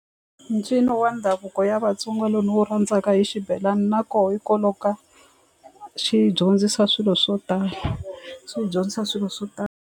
Ncino wa ndhavuko ya vatsonga lowu ni wu rhandzaka i xibelani na koho hikwalaho ka xi dyondzisa swilo swo tala xi dyondzisa swilo swo tala.